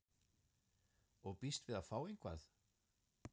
Og býst við að fá eitthvað?